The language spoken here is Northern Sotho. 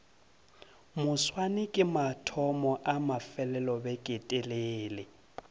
moswane ke mathomo a mafelelobeketelele